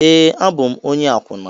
Ee, abụ m onye akwụna